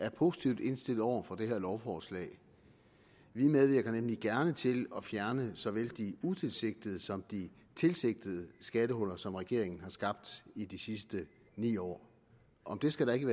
er positivt indstillet over for det her lovforslag vi medvirker nemlig gerne til at fjerne såvel de utilsigtede som de tilsigtede skattehuller som regeringen har skabt i de sidste ni år om det skal der ikke